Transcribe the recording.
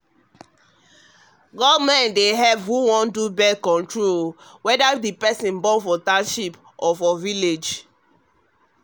born-control wey government dey back dey support choice wey wey person get about born whether for bush or for town.